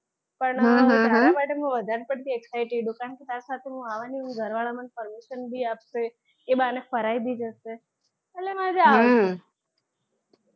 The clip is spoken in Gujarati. હા હા હા પણ હું તારા માટે વધારે પડતી excited છું કારણ કે તારી સાથે હું આવાની છું ઘર વાળા મને permission બી આપશે એ બહાને ફરાય બી જશે એટલે મજા આવે હા